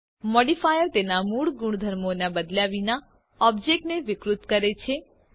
modifier તેના મૂળ ગુણધર્મોને બદલ્યા વિના ઓબ્જેક્ટને વિકૃત કરે છે